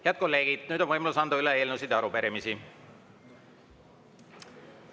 Head kolleegid, nüüd on võimalus anda üle eelnõusid ja arupärimisi.